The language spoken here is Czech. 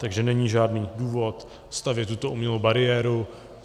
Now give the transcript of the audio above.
Takže není žádný důvod stavět tuto umělou bariéru.